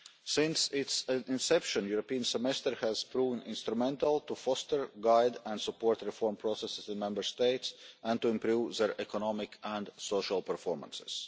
Since its inception the European Semester has proven instrumental in fostering, guiding and supporting the reform process in the Member States and in improving their economic and social performance.